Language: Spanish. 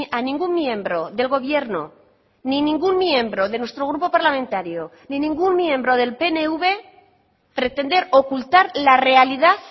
a ningún miembro del gobierno ni ningún miembro de nuestro grupo parlamentario ni ningún miembro del pnv pretender ocultar la realidad